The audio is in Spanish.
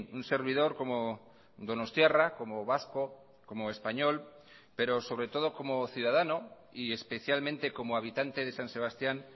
un servidor como donostiarra como vasco como español pero sobre todo como ciudadano y especialmente como habitante de san sebastián